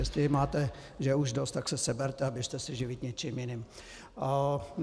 Jestli máte mě už dost, tak se seberte a běžte se živit něčím jiným.